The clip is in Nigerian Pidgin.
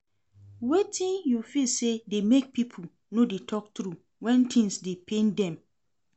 Wetin you feel say dey make people no dey talk true when things dey pain dem?